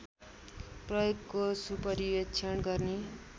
प्रयोगको सुपरीवेक्षण गर्ने